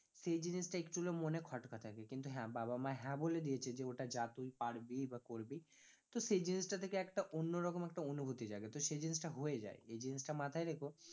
সেই জিনিসটা একটু হলেও মনে খটকা থাকে, কিন্তু হ্যাঁ বাবা মা হ্যাঁ বলে দিয়েছে যে ওটা যা তুই পারবি বা করবি তো সেই জিনিসটা থেকে একটা অন্যরকম একটা অনুভূতি জাগে তো সেই জিনিসটা হয়ে যায়, এই জিনিটা মাথায় রেখো